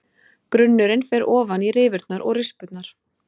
Grunnurinn fer ofan í rifurnar og rispurnar.